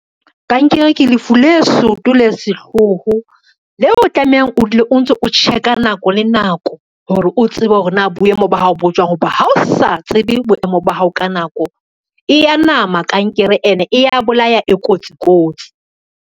Kankere ke lefu le soto le sehloho, leo o tlamehang o dule o ntso, o check-a nako le nako hore o tsebe hore na boemo ba hao bo jwang, ho ba ha o sa tsebe boemo ba hao ka nako, e ya nama kankere ene e ya bolaya e kotsi kotsi.